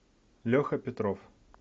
леха петров